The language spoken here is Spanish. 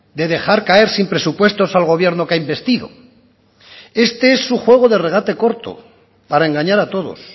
de dejar caer sin presupuestos al gobierno que ha embestido este es un juego de regate corto para engañar a todos